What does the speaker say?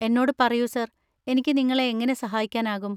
എന്നോട് പറയൂ സർ, എനിക്ക് നിങ്ങളെ എങ്ങനെ സഹായിക്കാനാകും?